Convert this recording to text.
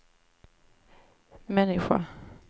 människa